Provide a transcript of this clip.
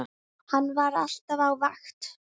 Hann var alltaf á vakt.